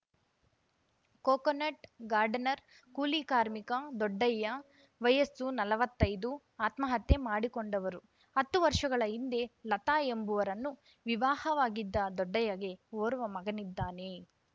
coconut gardener ಕೂಲಿ ಕಾರ್ಮಿಕ ದೊಡ್ಡಯ್ಯ ವಯಸ್ಸು ನಲವತ್ತೈದು ಆತ್ಮಹತ್ಯೆ ಮಾಡಿಕೊಂಡವರು ಹತ್ತು ವರ್ಷಗಳ ಹಿಂದೆ ಲತಾ ಎಂಬುವರನ್ನು ವಿವಾಹವಾಗಿದ್ದ ದೊಡ್ಡಯ್ಯಗೆ ಓರ್ವ ಮಗನಿದ್ದಾನೆ